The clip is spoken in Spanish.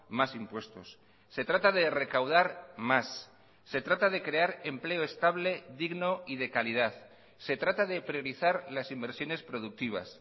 más impuestos se trata de recaudar más se trata de crear empleo estable digno y de calidad se trata de priorizar las inversiones productivas